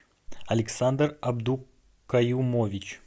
александр абдукаюмович